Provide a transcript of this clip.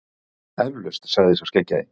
Eflaust, sagði sá skeggjaði.